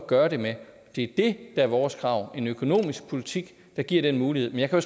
gøre det med det er det der er vores krav en økonomisk politik der giver den mulighed men jeg kan